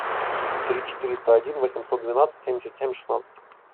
три четыреста один восемьсот двенадцать семьдесят семь шестнадцать